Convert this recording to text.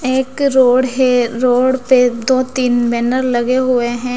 एक रोड हे रोड पे दो तीन बैनर लगे हुए हैं।